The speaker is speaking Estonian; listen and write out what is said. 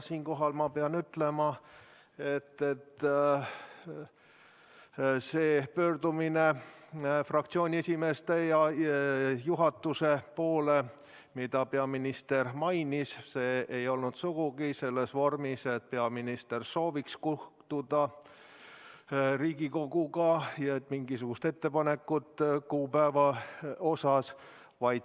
Siinkohal ma pean ütlema, et see pöördumine fraktsiooniesimeeste ja juhatuse poole, mida peaminister mainis, ei olnud sugugi selles vormis, et peaminister sooviks kohtuda Riigikoguga, ja ei olnud mingisugust ettepanekut kuupäeva osas.